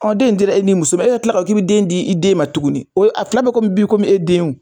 Ɔ den in dira e n'i muso e ko k'i bi kila ka den di i den ma tuguni o ye a fila be kɔmi bi komi e den o